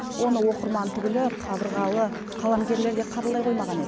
оны оқырман түгілі қабырғалы қаламгерлер де қабылдай қоймаған еді